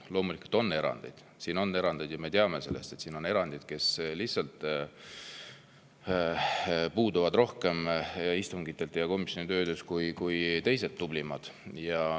Loomulikult on erandeid, me teame, et siin on erandid,, kes lihtsalt puuduvadki istungitelt ja komisjoni töölt rohkem kui teised tublimad.